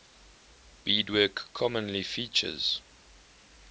beadwork commonly features